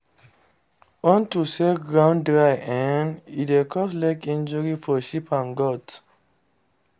onto say ground dry ehne dey cause leg injury for sheep and goats